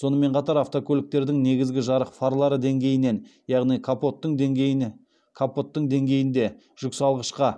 сонымен қатар автокөліктердің негізгі жарық фарлары деңгейінен яғни капоттың деңгейінде жүксалғышқа